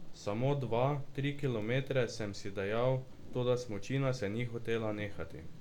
Samo dva, tri kilometre, sem si dejal, toda smučina se ni hotela nehati.